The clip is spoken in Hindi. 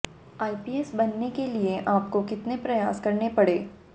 आईपीएस बनने के लिए आपको कितने प्रयास करने पड़े